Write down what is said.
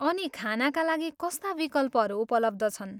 अनि खानाका लागि कस्ता विकल्पहरू उपलब्ध छन्?